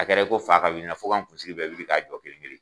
A kɛra i ko fa ka wuli in na fɔ kan n kun sigi bɛɛ wuli ka jɔ kelen kelen.